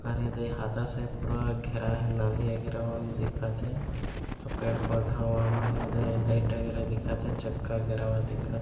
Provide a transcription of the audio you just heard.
अउ ये दे हाथा से पूरा घेरा हे नाली वगेरा मन दिखत हे अउ पेड़-पौधवा मन एदे लाइट वगेरा दिखत हे चक्का घेरावा दिखत हे।